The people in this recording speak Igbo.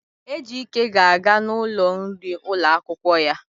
Ejike ga-aga n'ụlọ nri ụlọ akwụkwọ ya.